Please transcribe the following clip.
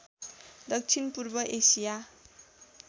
दक्षिण पूर्व एसिया